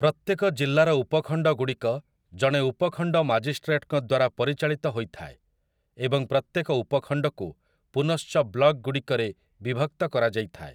ପ୍ରତ୍ୟେକ ଜିଲ୍ଲାର ଉପଖଣ୍ଡଗୁଡ଼ିକ ଜଣେ ଉପଖଣ୍ଡ ମାଜିଷ୍ଟ୍ରେଟ୍‌ଙ୍କ ଦ୍ୱାରା ପରିଚାଳିତ ହୋଇଥାଏ, ଏବଂ ପ୍ରତ୍ୟେକ ଉପଖଣ୍ଡକୁ ପୁନଶ୍ଚ ବ୍ଲକ୍‌ଗୁଡ଼ିକରେ ବିଭକ୍ତ କରାଯାଇଥାଏ ।